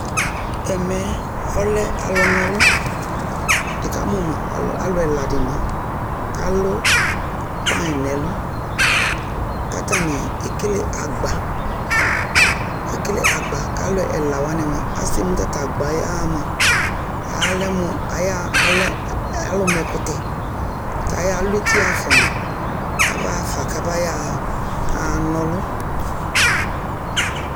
Ɛmɛ yɛ ɔlɛ alʋnaɔlʋ Nɩkamʋ ma alʋ ɛla dɩnɩ kʋ alʋ pan nʋ ɛlʋ kʋ atanɩ ekele agba Ekele agba kʋ alʋ ɛla wanɩ mʋa, asɛmu ɔta tʋ agba yɛ ya mʋa, alɛ mʋ aya alɛ alʋ ma ɛkʋtɛ kʋ ayalʋ eti ɣa fa mʋa, kabaɣa fa kabaya ɣa na ɔlʋ